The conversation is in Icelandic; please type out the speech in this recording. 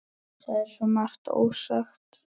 Það er svo margt ósagt.